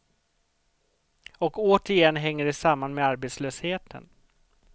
Och återigen hänger det samman med arbetslösheten.